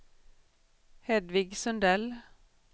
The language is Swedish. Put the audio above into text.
Hedvig Sundell